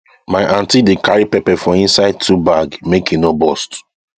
my aunty dey carry pepper for inside two bag make e no burst